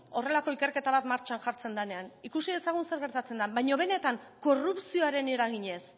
horrelako ikerketa bat martxan jartzen danean ikus dezagun zer gertatzen dan baino benetan korrupzioaren eraginez